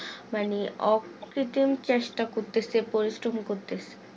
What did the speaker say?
মানে অকৃতিম চেষ্টা করতেছে পরিশ্রম করতেছে